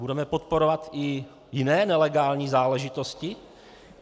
Budeme podporovat i jiné nelegální záležitosti?